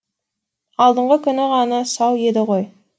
алдыңғы күні ғана сау еді ғой